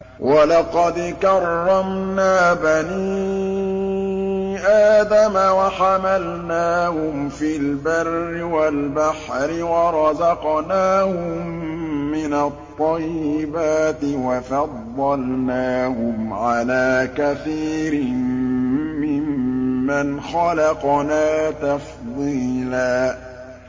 ۞ وَلَقَدْ كَرَّمْنَا بَنِي آدَمَ وَحَمَلْنَاهُمْ فِي الْبَرِّ وَالْبَحْرِ وَرَزَقْنَاهُم مِّنَ الطَّيِّبَاتِ وَفَضَّلْنَاهُمْ عَلَىٰ كَثِيرٍ مِّمَّنْ خَلَقْنَا تَفْضِيلًا